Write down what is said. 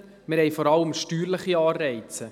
Wir haben vor allem steuerliche Anreize.